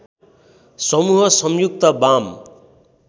समूह संयुक्त वाम